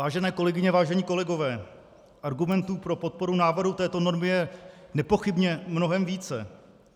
Vážené kolegyně, vážení kolegové, argumentů pro podporu návrhu této normy je nepochybně mnohem více.